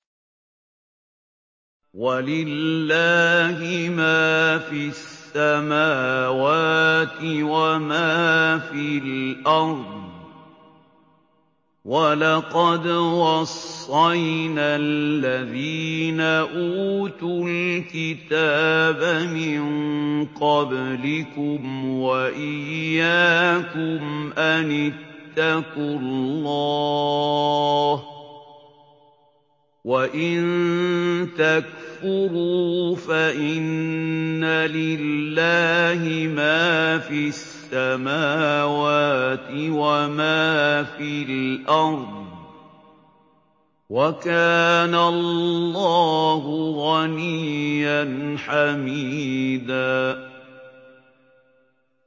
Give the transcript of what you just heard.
وَلِلَّهِ مَا فِي السَّمَاوَاتِ وَمَا فِي الْأَرْضِ ۗ وَلَقَدْ وَصَّيْنَا الَّذِينَ أُوتُوا الْكِتَابَ مِن قَبْلِكُمْ وَإِيَّاكُمْ أَنِ اتَّقُوا اللَّهَ ۚ وَإِن تَكْفُرُوا فَإِنَّ لِلَّهِ مَا فِي السَّمَاوَاتِ وَمَا فِي الْأَرْضِ ۚ وَكَانَ اللَّهُ غَنِيًّا حَمِيدًا